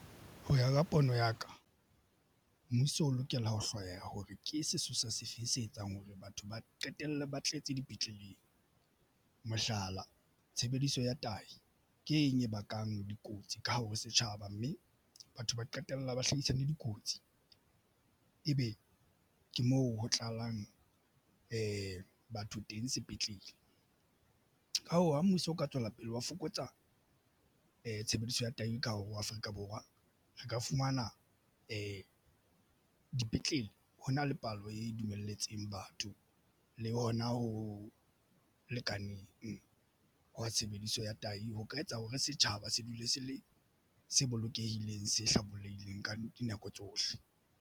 Ho ya ka pono ya ka mmuso o lokela ho hloya hore ke sesosa se feng se etsang hore batho ba qetella ba tletse dipetleleng. Mohlala tshebediso ya tahi ke eng e bakang dikotsi ka hare ho setjhaba mme batho ba qetella ba hlodisane dikotsi. Ebe ke moo ho tlalang batho teng sepetlele. Ka hoo, ha mmuso o ka tswela pele ho fokotsa tshebediso ya teng ka hare ho Afrika Borwa. Re ka fumana dipetlele ho na le palo e dumelletsweng batho le hona ho lekaneng ho tshebediso ya tahi ho ka etsa hore setjhaba se dule se le se bolokehileng, se hlabollehile ka dinako tsohle.